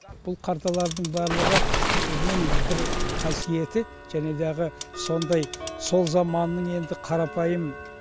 бұл карталардың барлығы бір қасиеті жәнедағы сондай сол заманның енді қарапайым